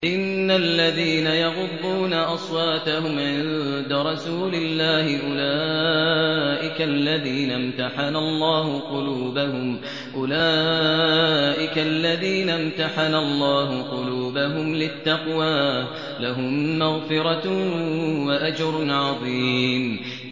إِنَّ الَّذِينَ يَغُضُّونَ أَصْوَاتَهُمْ عِندَ رَسُولِ اللَّهِ أُولَٰئِكَ الَّذِينَ امْتَحَنَ اللَّهُ قُلُوبَهُمْ لِلتَّقْوَىٰ ۚ لَهُم مَّغْفِرَةٌ وَأَجْرٌ عَظِيمٌ